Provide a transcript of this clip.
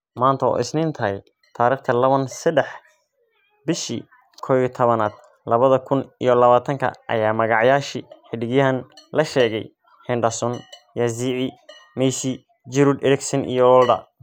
Manta oo isnin tahy tarikhta lawan sadex bishi koyatawanad labada kun iyo lawatanka aya magacyashi xidigyan lashegeya :Henderson, Yazici, Messi ,Giroud, Eriksan iyo Wolder.